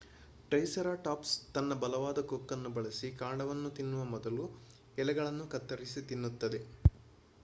triceratops ತನ್ನ ಬಲವಾದ ಕೊಕ್ಕನ್ನು ಬಳಸಿ ಕಾಂಡವನ್ನು ತಿನ್ನುವ ಮೊದಲು ಎಲೆಗಳನ್ನು ಕತ್ತರಿಸಿ ತಿನ್ನುತ್ತದೆ